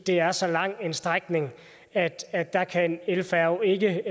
er så lang en strækning at at der kan en elfærge ikke